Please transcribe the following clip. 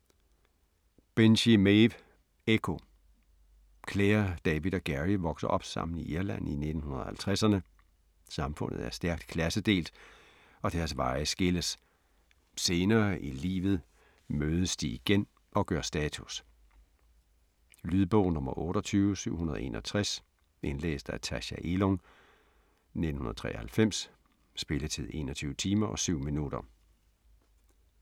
Binchy, Maeve: Ekko Clare, David og Gerry vokser op sammen i Irland i 1950'erne. Samfundet er stærkt klassedelt, og deres veje skilles. Senere i livet mødes de igen og gør status. Lydbog 28761 Indlæst af Tacha Elung, 1993. Spilletid: 21 timer, 7 minutter.